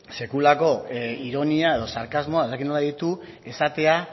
sekulako ironia edo sarkasmoa ez dakit nola deitu esatea